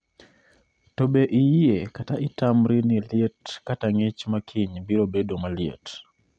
to be iyie kata itamri ni liet kata ng'ich makiny biro bedo maliet